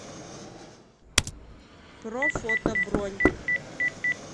профото бронь